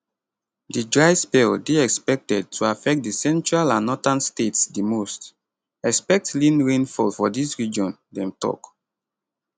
di dry spell dey expected to affect di central and northern states di most expect lean rainfall for dis region dem tok